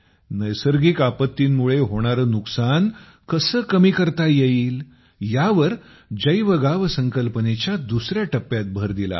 नैसर्गिक आपत्तींमुळे होणारे नुकसान कसे कमी करता येईल यावर जैवगाव संकल्पनेच्या दुसऱ्या टप्प्यात भर दिला आहे